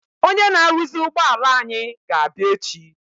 Ọnyé na aruzi ụgbọala anyị ga-abia echi.